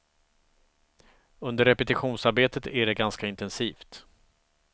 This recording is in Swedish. Under repetitionsarbetet är det ganska intensivt.